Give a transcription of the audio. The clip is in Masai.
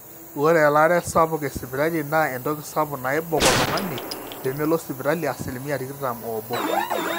ore elaare sapuk esipitali naa entoki sapuk naibok oltung'ani peemelo sipitali asilimia tikitam oobo